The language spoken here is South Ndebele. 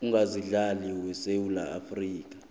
ongasimhlali wesewula afrika